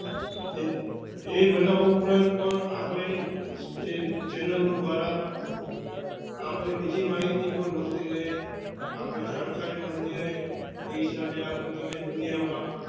એ બનાવ ઉપરાંત પણ આપના channel દ્વારા આપની બીજી મળતી રહે, આપણે જાણકારી મળતી રહે, એ હિસાબે આપણે તમે દુનિયા માં